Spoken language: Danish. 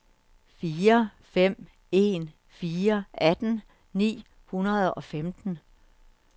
fire fem en fire atten ni hundrede og femten